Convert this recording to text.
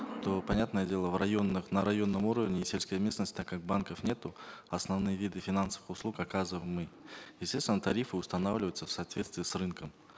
то понятное дело в районных на районном уровне и сельской местности так как банков нету основные виды финансовых услуг оказываем мы естественно тарифы устанавливаются в соответствии с рынком